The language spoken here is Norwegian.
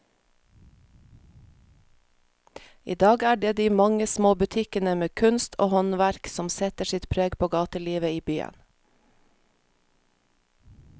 I dag er det de mange små butikkene med kunst og håndverk som setter sitt preg på gatelivet i byen.